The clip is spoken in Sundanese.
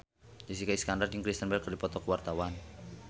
Jessica Iskandar jeung Kristen Bell keur dipoto ku wartawan